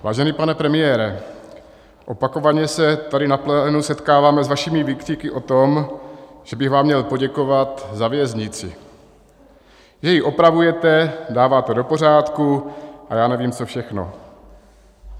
Vážený pane premiére, opakovaně se tady na plénu setkáváme s vašimi výkřiky o tom, že bych vám měl poděkovat za věznici, že ji opravujete, dáváte do pořádku a já nevím co všechno.